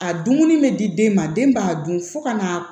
A dumuni bɛ di den ma den b'a dun fo ka na